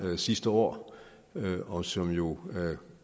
sidste år og som jo